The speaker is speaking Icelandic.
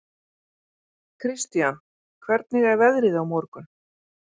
Kristian, hvernig er veðrið á morgun?